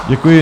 Děkuji.